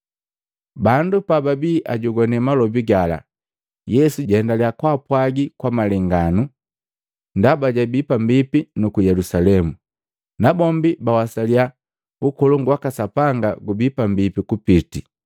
Bandu pababi ajogwane malobi gala, Yesu jaendaliya kaapwagi kwa malenganu. Ndaba jabii pambipi nuku Yelusalemu, nabombi bawasaliya Ukolongu waka Sapanga gubii pambipi kupiti.